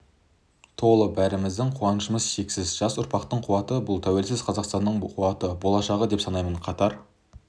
толы бәріміздің қуанышымыз шексіз жас ұрпақтың қуаты бұл тәуелсіз қазақстанның қуаты болашағы деп санаймын қатар